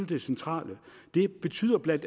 det centrale det betyder bla